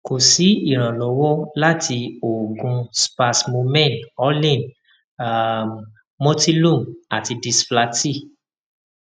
ko si iranlọwọ lati oogun spasmomen orlin um motilum ati disflatyl